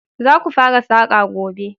Za ku fara saƙa gobe!